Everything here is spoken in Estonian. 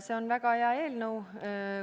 See on väga hea eelnõu.